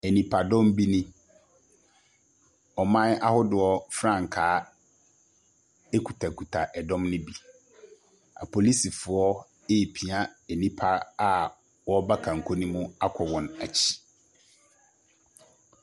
Nipadɔm bi nie, ɔman ahodoɔ frankaa kutakuta ɛdɔm no bi. Apolisifoɔ repia nnipa a wɔreba kanko no mu akɔ wɔn akyi.